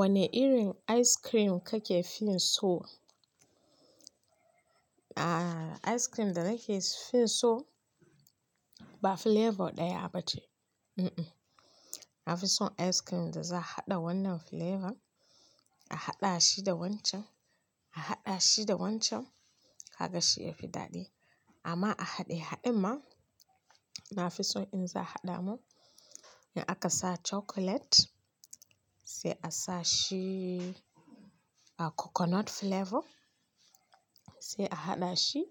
Wane irin ice cream kake fin so? Ice cream da nake fi so ba flavor ɗaya ba ce. Na fi so ice cream da za a haɗa wannan flavor, a haɗa shi da wancan, a haɗa shi da wancan, kaga shi yafi daɗi. Amma a haɗe haɗin ma, na fi so in za a haɗa mun in aka sa chocolate, sai a sa shi coconut flavor, sai a haɗa shi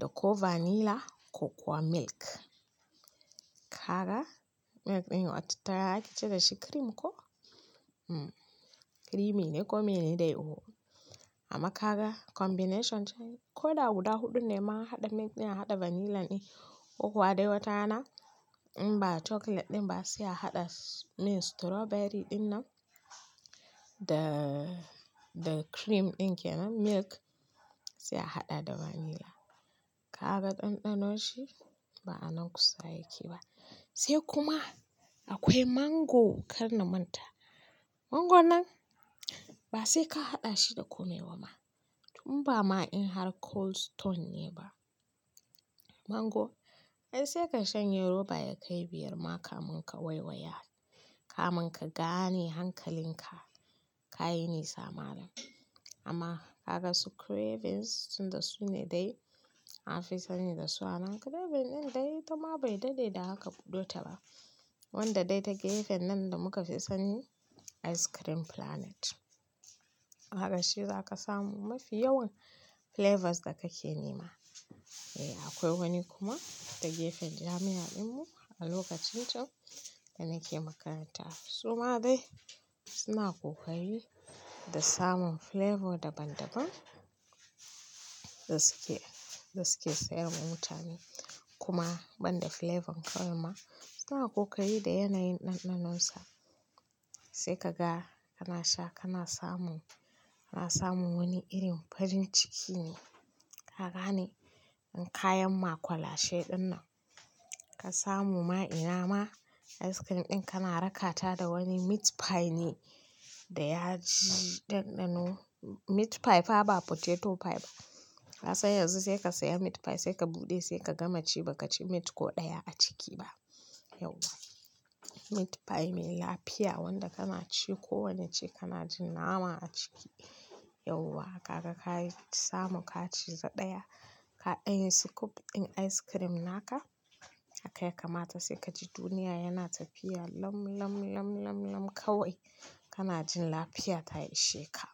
da ko vanilla ko kuwa milk. Kaga milk ɗin watattara ake cire shi cream ko? Creamy ne ko mene dai o. Amma kaga combination ce. Ko da guda huɗun ne ma, haɗa milk ɗin, haɗa vanilla ɗin, ko kuwa dai watarana in ba chocolate ɗin ba sai a haɗa min strawberry ɗin nan da cream ɗin kenan milk sai a haɗa da vanilla. Kaga ɗanɗanon shi ba a nan kusa yake ba. Sai kuma akwai mango kar na manta. Mango nan ba sai ka haɗa shi da komai ba ma. Tun ba ma in har Cold Stone ne ba. Mango ai sai ka shanye roba ya kai biyar ma kamin ka waiwaya. Kamin ka gane hankalinka kayi nesa malam. Amma kaga su cravings tun da su ne dai na fi sani da su. Amma craving ɗin dai ita ma bai daɗe da haka buɗe ta ba. Wanda dai take gefen nan da muka fi sani ice cream planet. Haka shi za ka samu mafi yawan flavors da kake nema. Eh akwai wani kuma take gefen jami'a ɗin mu a lokacin can da nake makaranta. Su ma dai suna kokari da samun flavor daban-daban da suke, da suke sayarwa mutane. Kuma banda flavor kawai ma suna kokari da yanayin ɗanɗanonsa. Sai ka ga kana sha kana samu, kana samun wani irin farin ciki ne. Kagane in kayan makwalashe ɗin nan ka samu ma ina ma ice cream ɗin kana rakata da wani meat pie ne da ya ji ɗanɗano. Meat pie fa ba potato pie ba. Ka san yanzu sai ka saya meat pie sai ka buɗe sai ka gama ci ba ka ci meat ko ɗaya a ciki ba. Yauwa! Meat pie mai lafiya wanda kana ci kowane ce kana jin nama a ciki. Yauwa! Kaga ka yi samu ka ci za ɗaya, ka danyi scoop ɗin ice cream naka haka ya kamata sai ka ji duniya yana tafiya lam lam lam lam lam kawai. Kana jin lafiya ta yi sheka.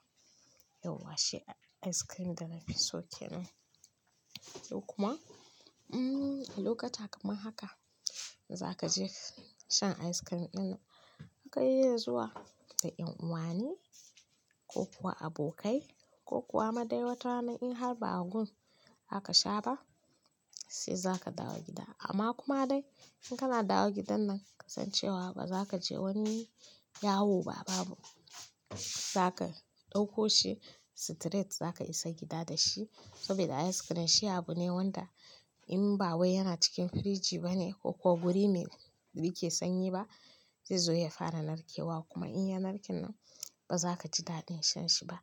Yauwa! Shi ice cream da na fi so kenan. Sai kuma a lokuta kamar haka za ka je shan ice cream ɗin kai iya zuwa da en uwani ko kuwa abokai ko kuwa ma dai watanna in har ba a gun aka sha ba sai za ka dawo gida. Amma kuma dai in kana dawo gidan nan kasancewa ba za ka je wani yawo ba babu. Za ka ɗauko shi straight za ka isa gida da shi. Saboda ice cream shi abu ne wanda in ba wai yana cikin firiji ba ne ko, ko guri mai yake sanyi ba zaizo ya fara narkewa kuma in ya narke nan ba za ka ji daɗin shan shi ba.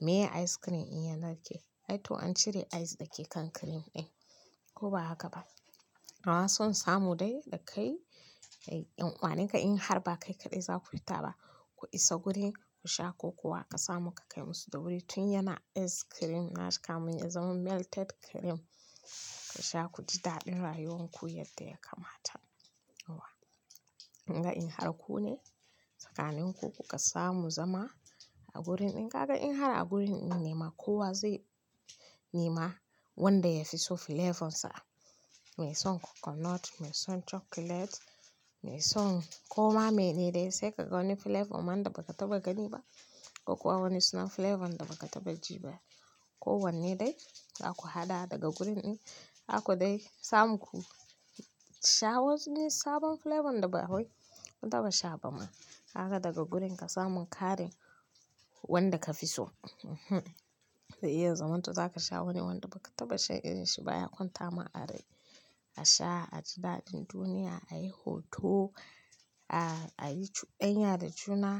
Meye ice cream in ya narke? Ai to an cire ice dake kan cream ɗin. Ko ba haka ba? Amma son samu dai da kai da en uwaninka in har ba kai kaɗai za ku fita ba. Ku isa guri ku sha ko kuwa ka samu ka kai musu da wuri tun yana ice cream na shi kamun ya zama melted cream. Ka sha ku ji daɗin rayuwan ku yadda ya kamata. Yauwa! In ga in har ku ne, tsakanin ku ku ka samu zama a gurin in ga in har a gurin in nema ko wa zai nema wanda ya fi so flavor sa. Me son coconut, me son chocolate, me son. Ko ma mene dai sai ka ga wani flavor man da ba ka taɓa gani ba ko kuwa wani suna flavor da ba ka taɓa ji ba. Ko wanne dai za ku haɗa daga gurin in haka dai samu ku sha wasu ne sabon flavor da ba wai kun taɓa sha ba ma. Kaga daga gurin ka samu kare wanda ka fi so. Sai ya zaman to za ka sha wani wanda ba ka taɓa sha irin shi ba ya kwanta ma a rai. A sha, a ji daɗin duniya, a yi hoto, a yi, a yi chudan ya da juna.